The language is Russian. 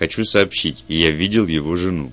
хочу сообщить я видел его жену